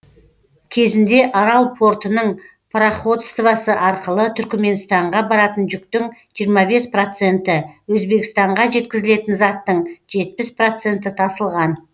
кезінде арал портының пароходствосы арқылы түркіменстанға баратын жүктің жиырма бес проценті өзбекстанға жеткізілетін заттың жетпіс проценті тасылған